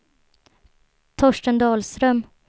Torsten Dahlström